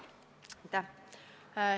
Aitäh!